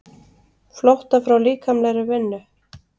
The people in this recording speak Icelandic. Flótta frá líkamlegri vinnu.